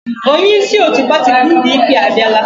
Onyeisi otu pati PDP abiala.